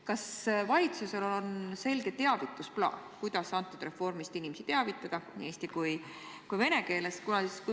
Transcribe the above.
Kas valitsusel on selge teavitusplaan, kuidas sellest reformist inimesi teavitada nii eesti kui ka vene keeles?